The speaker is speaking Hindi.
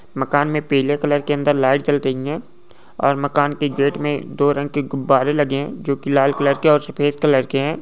मकान मे पिले कलर के अंदर लाइट जल रही है और मकान के गेट मे दो रंग के गुब्बारे लगे है जो के लाल कलर के और सफेद कलर के है।